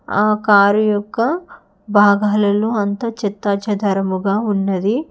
ఆ కారు యొక్క భాగాలలో అంత చెత్తాచెదారముగా ఉన్నది.